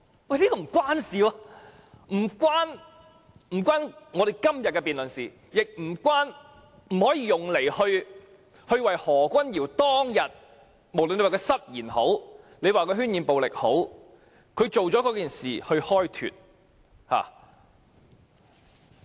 這其實並不相關，既與今天的辯論無關，也不可用作為何君堯議員當天的行為開脫，不管他是失言還是渲染暴力。